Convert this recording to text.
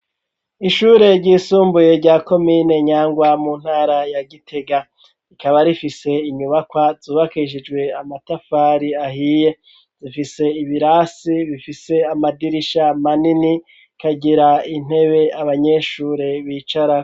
Ishure ry'isumbuye rya komine Nyangwa mu ntara ya Gitega rikaba rifise inyubakwa zubakishijwe amatafari ahiye zifise ibirasi bifise amadirisha manini ikagira intebe abanyeshure bicarako.